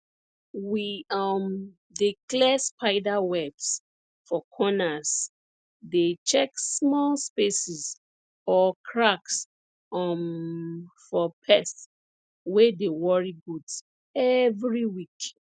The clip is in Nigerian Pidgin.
we um dey clear spider webs for corners dey check small spaces or cracks um for pests wey dey worry goats every week